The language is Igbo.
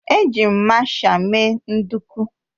Eji m masha mee nduku